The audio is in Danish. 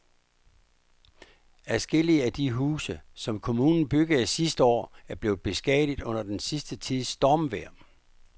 Adskillige af de huse, som kommunen byggede sidste år, er blevet beskadiget under den sidste tids stormvejr.